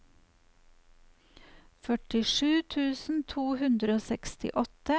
førtisju tusen to hundre og sekstiåtte